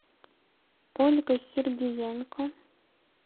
ольга сергиенко